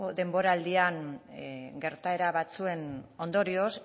denboraldian gertaera batzuen ondorioz